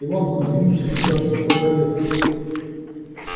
иван кузмич сейчас их под арест